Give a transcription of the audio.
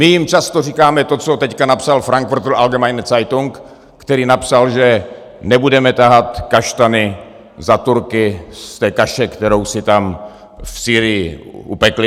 My jim často říkáme to, co teď napsal Frankfurter Allgemeine Zeitung, který napsal, že nebudeme tahat kaštany za Turky z té kaše, kterou si tam v Sýrii upekli.